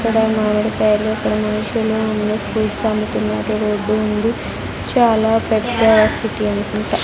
ఇక్కడ మామిడికాయలు అక్కడ మనుషులు ఉండి ఫ్రూట్స్ అమ్ముతున్నారు రోడ్డు ఉంది చాలా పెద్ద సిటీ అనుకుంటా.